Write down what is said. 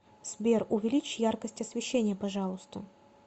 сбер увеличь яркость освещения пожалуйста